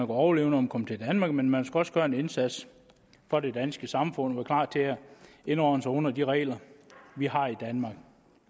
overleve når man kom til danmark men man skulle også gøre en indsats for det danske samfund og være klar til at indordne sig under de regler vi har i danmark